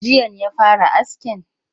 Jiyan ya fara askin?